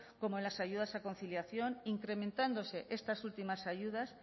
como en las ayudas a conciliación incrementándose estas últimas ayudas